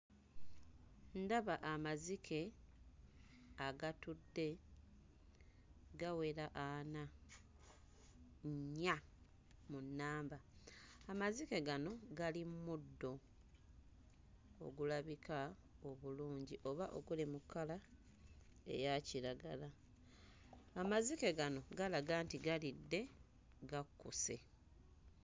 Ndaba amazike agatudde gawera ana, nnya mu nnamba. Amazike gano gali mmundo ogulabika obulungi oba oguli mu kkala eya kiragala. Amazike gano galaga nti galidde gakkuse.